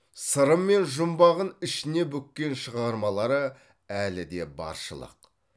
сыры мен жұмбағын ішіне бүккен шығармалары әлі де баршылық